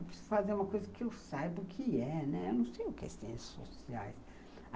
Eu preciso fazer uma coisa que eu saiba o que é, né. Eu não sei o que é Ciências Sociais.